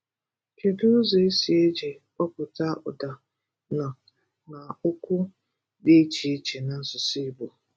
Kedu ụzọ e si eji kpụpụta ụ̀dà “n” na okwu dị iche iche n’asụsụ Igbo?